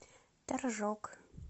торжок